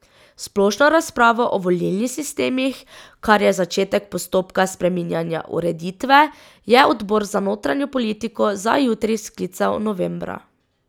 Splošno razpravo o volilnih sistemih, kar je začetek postopka spreminjanja ureditve, je odbor za notranjo politiko za jutri sklical novembra.